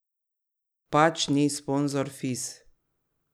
Pač ni sponzor Fis.